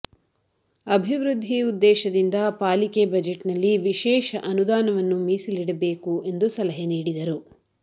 ಅಭಿವೃದ್ಧಿ ಉದ್ದೇಶದಿಂದ ಪಾಲಿಕೆ ಬಜೆಟ್ ನಲ್ಲಿ ವಿಶೇಷ ಅನುದಾನವನ್ನು ಮಿಸಲಿಡಬೇಕು ಸಲಹೆ ನೀಡಿದರು